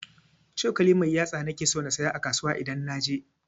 cokali mai yatsa nake so na siyo a kasuwa idan naje.